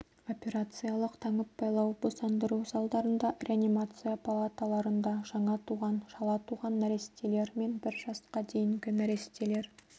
операциялық таңып-байлау босандыру залдарында реанимация палаталарында жаңа туған шала туған нәрестелер мен бір жасқа дейінгі нәрестелер